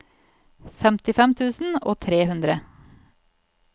femtifem tusen og tre hundre